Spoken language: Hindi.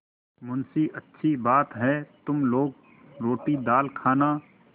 मुंशीअच्छी बात है तुम लोग रोटीदाल खाना